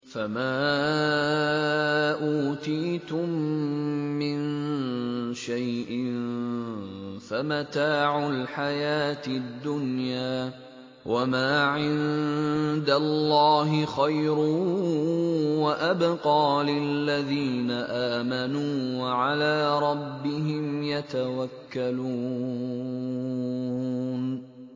فَمَا أُوتِيتُم مِّن شَيْءٍ فَمَتَاعُ الْحَيَاةِ الدُّنْيَا ۖ وَمَا عِندَ اللَّهِ خَيْرٌ وَأَبْقَىٰ لِلَّذِينَ آمَنُوا وَعَلَىٰ رَبِّهِمْ يَتَوَكَّلُونَ